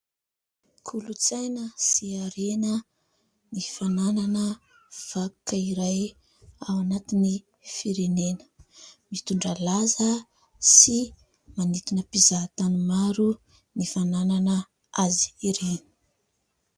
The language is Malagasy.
Kolontsaina sy harena ny fananana vakoka iray ao anatin'ny firenena. Mitondra laza sy manintona mpizahatany maro ny fananana azy ireny.